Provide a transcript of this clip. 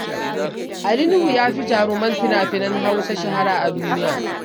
Ali Nuhu ya fi jaruman fina-finan Hausa shahara a duniya.